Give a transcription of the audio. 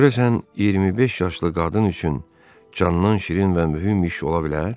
Görəsən 25 yaşlı qadın üçün candan şirin və mühüm iş ola bilər?